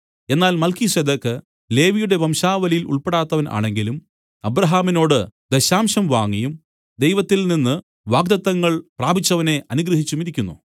എന്നാൽ മൽക്കീസേദെക്ക് ലേവിയുടെ വംശാവലിയിൽ ഉൾപ്പെടാത്തവൻ ആണെങ്കിലും അബ്രാഹാമിനോട് ദശാംശം വാങ്ങിയും ദൈവത്തിൽനിന്ന് വാഗ്ദത്തങ്ങൾ പ്രാപിച്ചവനെ അനുഗ്രഹിച്ചുമിരിക്കുന്നു